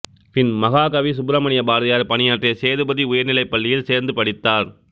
பின் மகாகவி சுப்ரமணிய பாரதியார் பணியாற்றிய சேதுபதி உயர் நிலைப் பள்ளியில் சேர்ந்து படித்தார்